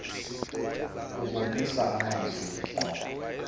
kubonisa amazwi ngqo